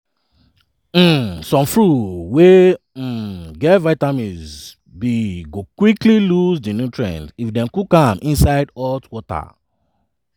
um some fruits wey um get vitamins b go quickly lose dat nutrient if dem cook am inside hot water.